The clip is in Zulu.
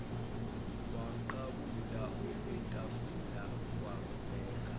wamqabula okwetafulana kwabheka